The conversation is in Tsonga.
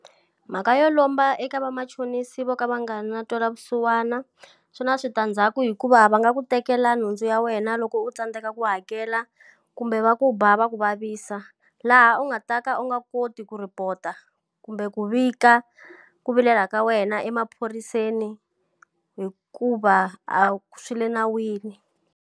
Mhaka yo lomba eka vamachonisi vo ka va nga na ntwela vusiwana, swi na switandzhaku hikuva va nga ku tekela nhundzu ya wena loko u tsandzeka ku hakela, kumbe va ku ba va ku vavisa. Laha u nga ta ka u nga koti ku report-a kumbe ku vika ku vilela ka wena emaphoriseni hikuva a swi le nawini.